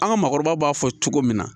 An ka maakɔrɔbaw b'a fɔ cogo min na